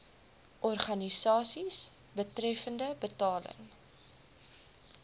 organisasies betreffende betaling